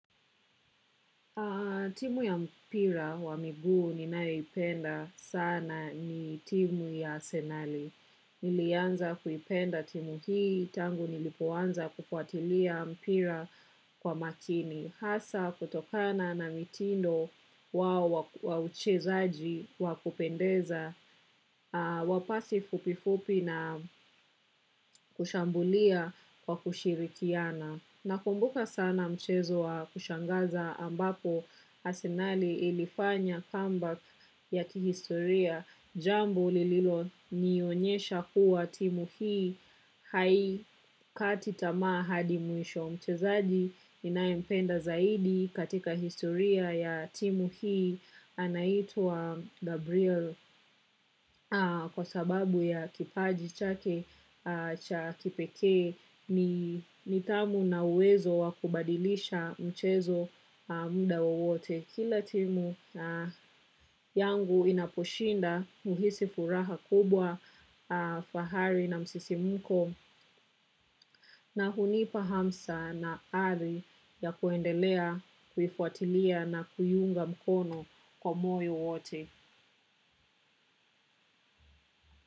Timu ya mpira wa miguu ninayoipenda sana ni timu ya Arsenali. Nilianza kuipenda timu hii tangu nilipoanza kufuatilia mpira kwa makini. Hasa kutokana na mitindo wao wa uchezaji wa kupendeza, wa pasi fupifupi na kushambulia kwa kushirikiana. Nakumbuka sana mchezo wa kushangaza ambapo Arsenali ilifanya comeback ya kihistoria jambu lililonionyesha kuwa timu hii haikati tamaa hadi mwisho. Mchezaji ninayempenda zaidi katika historia ya timu hii anaitwa Gabriel kwa sababu ya kipaji chake cha kipekee, nidhamu na uwezo wa kubadilisha mchezo muda wowote. Kila timu yangu inaposhinda huhisi furaha kubwa fahari na msisimuko na hunipa hamsa na ari ya kuendelea, kufuatilia na kuiunga mkono kwa moyo wote.